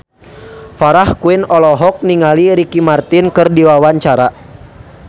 Farah Quinn olohok ningali Ricky Martin keur diwawancara